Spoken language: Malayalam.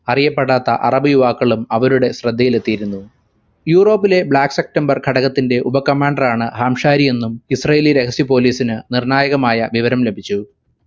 അറിയപ്പെടാത്ത അറബി യുവാക്കളും അവരുടെ ശ്രദ്ധയിലെത്തിയിരുന്നു യൂറോപ്പിലെ black september ഘടകത്തിന്റെ ഉപ commander ആണ് ഹാംശാരി എന്നും israeli രഹസ്യ police ന് നിർണ്ണായകമായ വിവരം ലഭിച്ചു